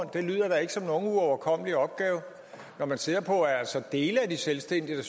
det lyder da ikke som nogen uoverkommelig opgave når man ser på at dele af de selvstændige